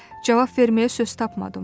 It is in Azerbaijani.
Cavab verməyə söz tapmadım.